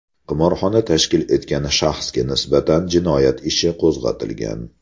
Qimorxona tashkil etgan shaxsga nisbatan jinoyat ishi qo‘zg‘atilgan.